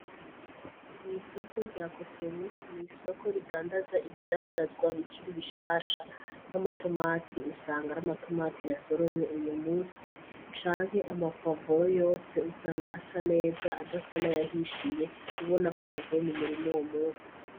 Mw'isoko rya cotebu n'isoko ridandaza ibidandazwa bikiri bishasha nk'amatomati usanga ari amatomati ya soromwe uyo musi canke amapwavoro yose usanga asa neza adasa n'ayahishiye ubona ko yavuye mu murima uwo musi.